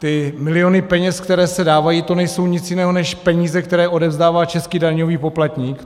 Ty miliony peněz, které se dávají, to nejsou nic jiného než peníze, které odevzdává český daňový poplatník.